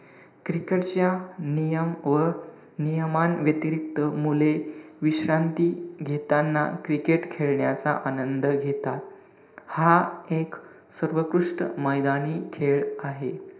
Cricket च्या नियम व नियमांव्यतिरिक्त मुले विश्रांती घेताना cricket खेळण्याचा आनंद घेतात. हा एक सर्वोत्कृष्ट मैदानी खेळ आहे.